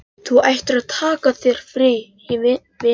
Þú ættir að taka þér frí, vinurinn.